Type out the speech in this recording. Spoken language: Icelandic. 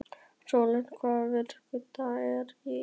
Rólant, hvaða vikudagur er í dag?